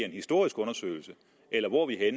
en historisk undersøgelse eller hvor er